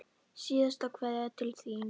Síðasta kveðja til þín.